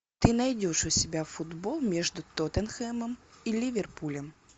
ты найдешь у себя футбол между тоттенхэмом и ливерпулем